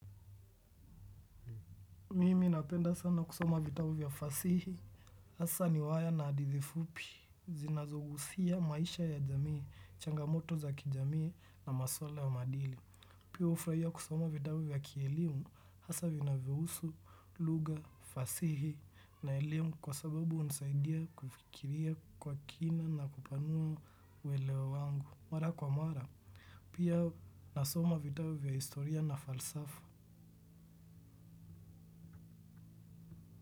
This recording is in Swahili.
Mimi napenda sana kusoma vitabu vya fasihi hasaa riwaya na hadithi fupi, zinazogusia maisha ya jamii, changamoto za kijamii na maswala ya maadili. Pia hufurahia kusoma vitabu vya kielimu, hasaa vinavyohusu lugha, fasihi na elimu kwa sababu hunisaidia kufikiria kwa kina na kupanua uweleo wangu. Mara kwa mara, pia nasoma vitabu vya historia na falsafa.